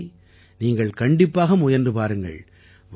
இவற்றை நீங்கள் கண்டிப்பாக முயன்று பாருங்கள்